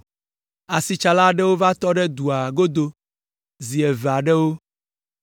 Asitsala aɖewo va tɔ ɖe dua godo zi eve aɖewo,